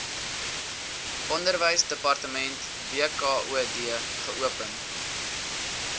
onderwysdepartement wkod geopen